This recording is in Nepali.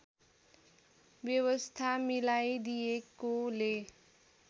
व्यवस्था मिलाइदिएकोले